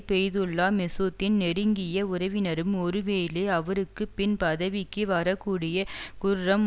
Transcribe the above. பெய்துல்லா மெசூத்தின் நெருங்கிய உறவினரும் ஒருவேளை அவருக்கு பின் பதவிக்கு வரக்கூடிய குர்ரம்